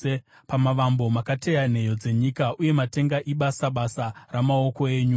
Pamavambo makateya nheyo dzenyika, uye matenga ibasa basa ramaoko enyu.